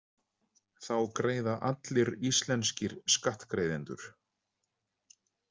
Þá greiða allir íslenskir skattgreiðendur.